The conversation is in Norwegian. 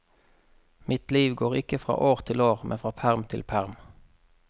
Mitt liv går ikke fra år til år men fra perm til perm.